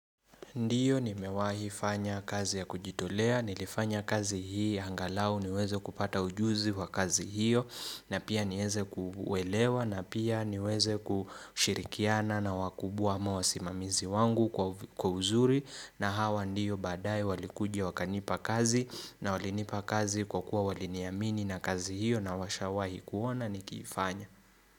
Ndiyo nimewahi fanya kazi ya kujitolea. Nilifanya kazi hii angalau niweze kupata ujuzi wa kazi hiyo na pia niweze kuwelewa na pia niweze kushirikiana na wakubwa ama wasimamizi wangu kwa kwa uzuri, na hawa ndiyo badaaye walikuja wakanipa kazi, na walinipa kazi kwa kuwa waliniamini na kazi hiyo na washawahi kuona nikiifanya.